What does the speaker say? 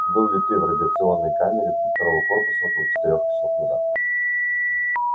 был ли ты в радиационной камере второго корпуса около четырёх часов назад